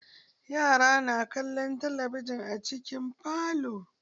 Yara na kallon talabijin a cikin falo.